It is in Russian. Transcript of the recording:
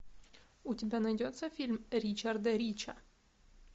у тебя найдется фильм ричарда рича